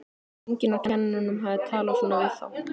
Enginn af kennurunum hafði talað svona við þá.